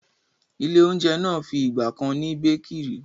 ilé-oúnjẹ náà fi ìgbà kan ni békìrì.